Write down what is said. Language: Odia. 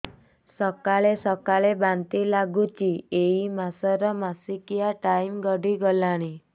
ସକାଳେ ସକାଳେ ବାନ୍ତି ଲାଗୁଚି ଏଇ ମାସ ର ମାସିକିଆ ଟାଇମ ଗଡ଼ି ଗଲାଣି